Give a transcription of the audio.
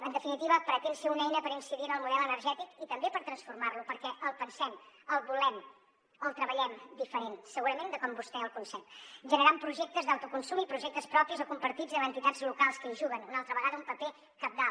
en definitiva pretén ser una eina per incidir en el model energètic i també per transformar lo perquè el pensem el volem el treballem diferent segurament de com vostè el concep generant projectes d’autoconsum i projectes propis o compartits amb entitats locals que hi juguen una altra vegada un paper cabdal